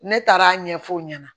Ne taara ɲɛfɔ u ɲɛna